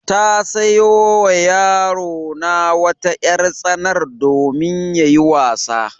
Ta sayo wa yarona wata ƴar-tsanar domin yayi wasa.